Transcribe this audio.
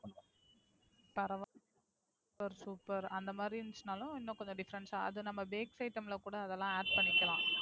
பரவால்ல Super super அந்த மாதிரி இருந்துச்சுனாலும் இன்னும் கொஞ்சம் Different ஆ அது நம்ப Bakery item ல கூட அத நம்ப Add பண்ணிக்கலாம்.